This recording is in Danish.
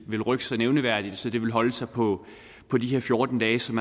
vil rykke sig nævneværdigt så det vil holde sig på på de her fjorten dage som